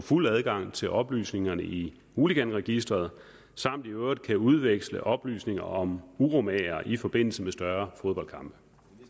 fuld adgang til oplysningerne i hooliganregisteret samt i øvrigt kan udveksle oplysninger om uromagere i forbindelse med større fodboldkampe